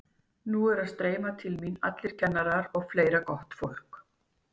Þeir eru að streyma til mín núna allir kennararnir og fleira gott fólk.